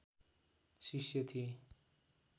शिष्य थिए